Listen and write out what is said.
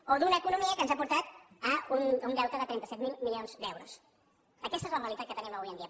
o d’una economia que ens ha portat a un deute de trenta set mil milions d’euros aquesta és la realitat que tenim avui en dia